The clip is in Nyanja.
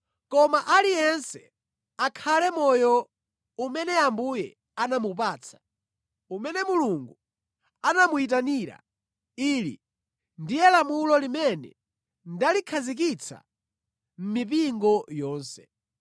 Koma aliyense akhale moyo umene Ambuye anamupatsa, umene Mulungu anamuyitanira. Ili ndiye lamulo limene ndalikhazikitsa mʼmipingo yonse.